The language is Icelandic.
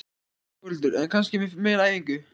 Þórhildur: En kannski með meiri æfingu?